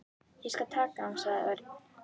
Ég skal taka hann sagði Örn.